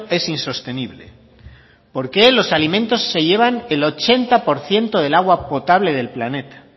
es insostenible por qué los alimentos se llevan el ochenta por ciento del agua potable del planeta